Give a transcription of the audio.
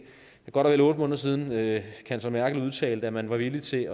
er godt og vel otte måneder siden at kansler merkel udtalte at man var villig til